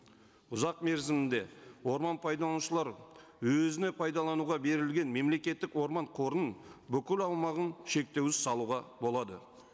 ұзақ мерзімде орман пайдаланушылар өзіне пайдалануға берілген мемлекеттік орман қорының бүкіл аумағын шектеусіз салуға болады